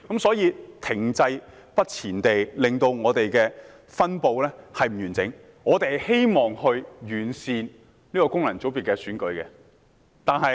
所以，停滯不前的情況令分布不完整，我們希望完善這功能界別的選舉。